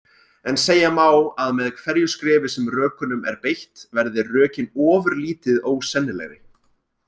En segja má að með hverju skrefi sem rökunum er beitt verði rökin ofurlítið ósennilegri.